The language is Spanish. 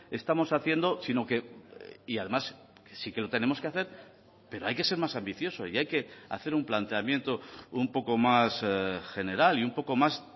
estamos haciendo sino que y además sí que lo tenemos que hacer pero hay que ser más ambicioso y hay que hacer un planteamiento un poco más general y un poco más